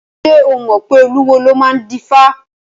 Ṣé o mọ̀ pé olúwo ló máa ń dífá?